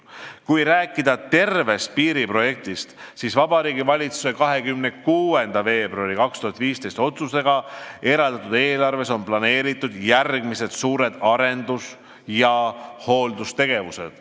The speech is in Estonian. Kui rääkida tervest piiriprojektist, siis Vabariigi Valitsuse 26. veebruari 2015. aasta otsusega eraldatud eelarves on planeeritud järgmised suured arendus- ja hooldustegevused.